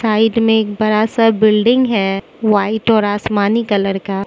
side में एक बड़ा सा बिल्डिंग है व्हाइट और आसमानी कलर का --